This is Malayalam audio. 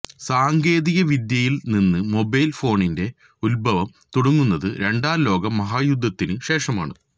സാങ്കേതികവിദ്യയില് നിന്ന് മൊബൈല് ഫോണിന്റെ ഉത്ഭവം തുടങ്ങുന്നത് രണ്ടാം ലോക മഹായുദ്ധത്തിന് ശേഷമാണ്